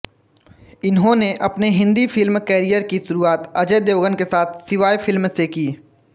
इन्होंने अपने Hindi film career की शुरुआत अजय देवगन के साथ शिवाय फ़िल्म से की